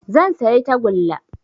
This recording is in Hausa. Zan sayi tagulla